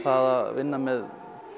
að vinna með